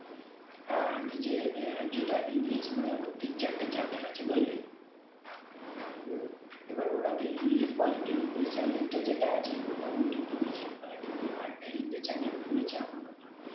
হ্যাঁ হ্যাঁ নিজে আহ যেটা ইংলিশ মানে ওর তিন চারটে channel আছে বুঝলি এবার ওরা তো ইংলিশ বলে তো ইংলিশ channel টা যেটা আছে ওটা ওর কিন্তু নিজের কিন্তু আরেকটা হিন্দি channel খুলেছে এখন নতুন